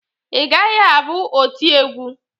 Ị gaghị abụ oti egwu!